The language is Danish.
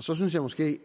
så synes jeg måske